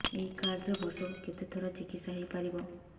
ଏଇ କାର୍ଡ ରେ ବର୍ଷକୁ କେତେ ଥର ଚିକିତ୍ସା ହେଇପାରିବ